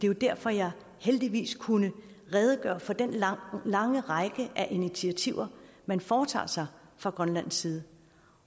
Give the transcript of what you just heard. jo derfor jeg heldigvis kunne redegøre for den lange lange række af initiativer man foretager sig fra grønlands side